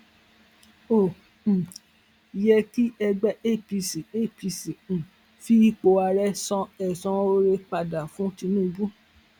ó um yẹ kí ẹgbẹ apc apc um fi ipò ààrẹ san ẹsan oore padà fún tinubu